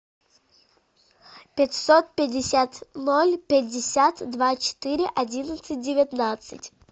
пятьсот пятьдесят ноль пятьдесят два четыре одиннадцать девятнадцать